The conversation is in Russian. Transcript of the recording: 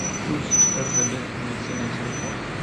чуз ржд медицина телефон